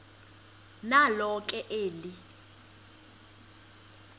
nalo ke eli